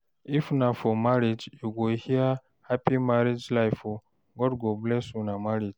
if na for marriage you go hear, "hapi married life o, God go bless una marriage"